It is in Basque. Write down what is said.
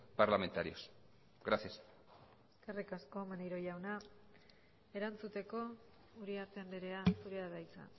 parlamentarios gracias eskerrik asko maneiro jauna erantzuteko uriarte andrea zurea da hitza